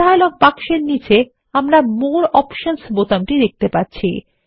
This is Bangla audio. ডায়লগ বাক্সের নীচে আমরা মোরে অপশনস বোতামটি দেখতে পাচ্ছি